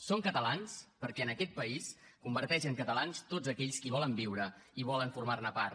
són catalans perquè aquest país converteix en catalans tots aquells que hi volen viure i volen formar ne part